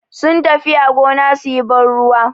Sun tafiya gona suyi ban ruwa.